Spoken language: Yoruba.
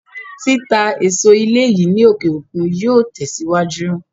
Títà èso ilé yìí ní òkè òkun yóò tẹ̀sìwájú